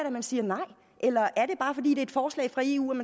at man siger nej eller er det bare fordi det er et forslag fra eu